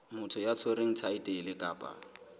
motho ya tshwereng thaetlele kapa